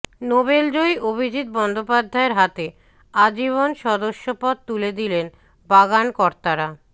নোবেলজয়ী অভিজিৎ বন্দ্যোপাধ্যায়ের হাতে আজীবন সদস্যপদ তুলে দিলেন বাগান কর্তারা